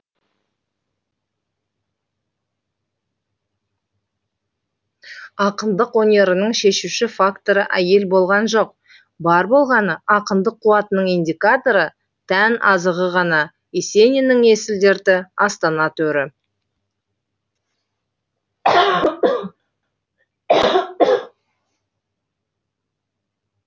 ақындық өнерінің шешуші факторы әйел болған жоқ бар болғаны ақындық қуатының индикаторы тән азығы ғана есениннің есіл дерті астана төрі